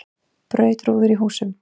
Braut rúður í húsum